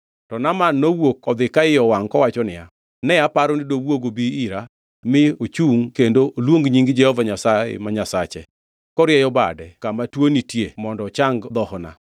To Naaman nowuok odhi ka iye owangʼ kowacho niya, “Ne aparo ni dowuog obi ira mi ochungʼ kendo oluong nying Jehova Nyasaye ma Nyasache, korieyo bade kama tuo nitie mondo ochang dhohona.